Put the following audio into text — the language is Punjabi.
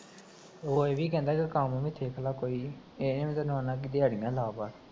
ਓ ਏ ਵੀ ਕਹਿੰਦਾ ਵੀ ਕੰਮ ਵੀ ਸਿੱਖਲਾ ਕੋਈ, ਏ ਨੀ ਓਦੇ ਨਾਲ ਨਾਲ ਦਿਹਾੜੀ ਨਾ ਲਾ ਪਰ